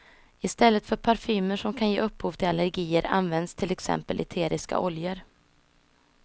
I stället för parfymer som kan ge upphov till allergier används till exempel eteriska oljor.